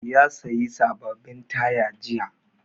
Ya sayi sababbin taya jiya.